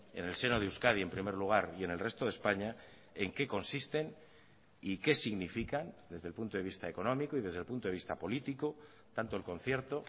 en el seno de euskadi en primer lugar y en el resto de españa en qué consisten y qué significan desde el punto de vista económico y desde el punto de vista político tanto el concierto